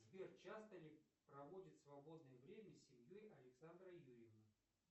сбер часто ли проводит свободное время с семьей александра юрьевна